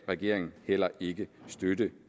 regeringen heller ikke støtte